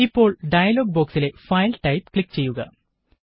ഇപ്പോള് ഡയലോഗ് ബോക്സിലെ file type click ചെയ്യുക